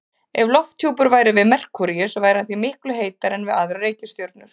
Ef lofthjúpur væri við Merkúríus væri hann því miklu heitari en við aðrar reikistjörnur.